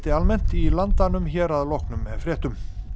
almennt í Landanum hér að loknum fréttum